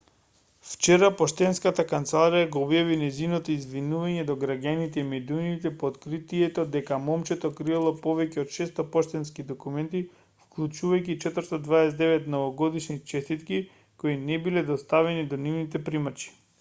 вчера поштенската канцеларија го објави нејзиното извинување до граѓаните и медиумите по откритието дека момчето криело повеќе од 600 поштенски документи вклучувајќи 429 новогодишни честитки кои не биле доставени до нивните примачи